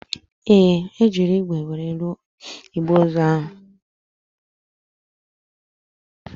Ee, e jiri ígwè were rụọ igbe ozu ahụ